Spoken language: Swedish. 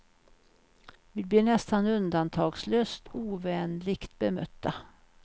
Vi blir nästan undantagslöst ovänligt bemötta.